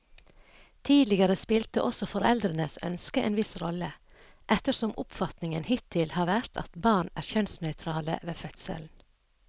Tidligere spilte også foreldrenes ønske en viss rolle, ettersom oppfatningen hittil har vært at barn er kjønnsnøytrale ved fødselen.